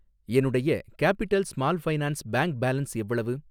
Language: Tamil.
என்னுடைய capital small finance bank balance எவ்வளவு?